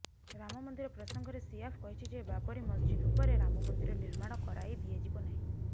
ରାମ ମନ୍ଦିର ପ୍ରସଙ୍ଗରେ ସିଆଫ କହିଛି ଯେ ବାବରୀ ମସଜିଦ ଉପରେ ରାମ ମନ୍ଦିର ନିର୍ମାଣ କରାଇଦିଆଯିବ ନାହିଁ